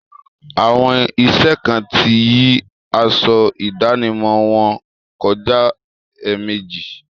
Àwọn iṣẹ kan ti yí aṣọ ìdánimọ̀ wọn kọjá èèmejì.